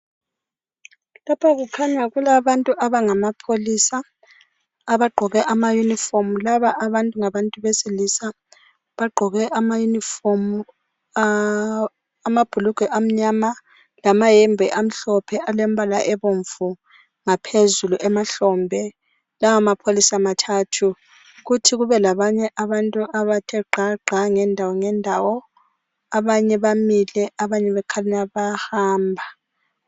Lapha kukhanya kulabantu abangamapholisa abagqoke ama uniform. Laba abantu ngabantu besilisa, bagqoke ama uniform, amabhulugwe amnyama lamahembe amhlophe alembala ebomvu ngaphezulu emahlombe. Lawa mapholisa mathathu. Kuthi kube labanye abantu abathe gqa gqa ngendawo ngendawo abanye bamile abanye bakhanya bayahamba.